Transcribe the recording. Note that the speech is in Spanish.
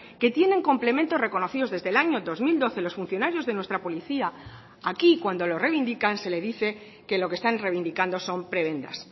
que tienen complementos reconocidos desde el año dos mil doce los funcionarios de nuestra policía aquí cuando lo reivindican se le dice que lo que están reivindicando son prebendas